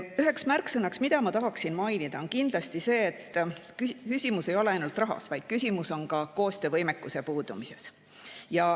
Üheks märksõnaks, mida ma tahaksin mainida, on kindlasti see, et küsimus ei ole ainult rahas, vaid küsimus on ka koostöövõimekuse puudumises.